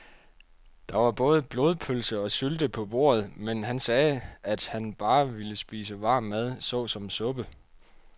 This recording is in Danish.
Der var både blodpølse og sylte på bordet, men han sagde, at han bare ville spise varm mad såsom suppe.